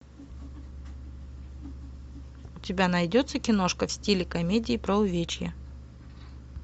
у тебя найдется киношка в стиле комедия про увечье